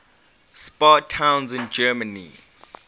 spa towns in germany